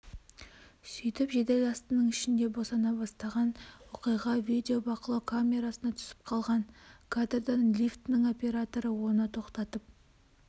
сөйтіп жеделсатының ішінде босана бастаған оқиға видеобақылау камерасына түсіп қалған кадрдан лифтінің операторы оны тоқтатып